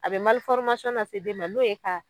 A bɛ lase den ma n'o ye ka